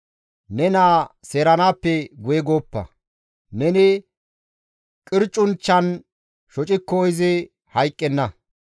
Ne naa seeranaappe guye gooppa; neni qircunchchan shocikko izi hayqqenna.